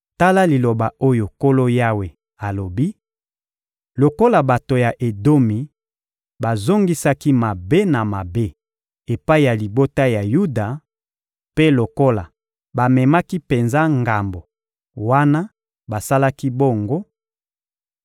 Tala liloba oyo Nkolo Yawe alobi: ‹Lokola bato ya Edomi bazongisaki mabe na mabe epai ya libota ya Yuda, mpe lokola bamemaki penza ngambo wana basalaki bongo;